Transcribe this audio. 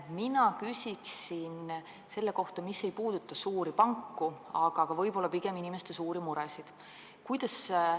Mina küsin millegi kohta, mis ei puuduta suuri panku, pigem inimeste suuri muresid.